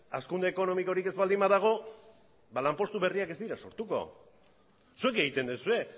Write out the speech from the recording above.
hazkunde ekonomikorik ez baldin badago lanpostu berriak ez dira sortuko zuek egiten duzue